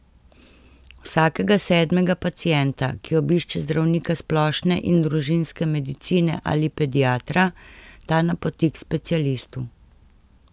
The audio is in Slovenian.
Vsakega sedmega pacienta, ki obišče zdravnika splošne in družinske medicine ali pediatra, ta napoti k specialistu.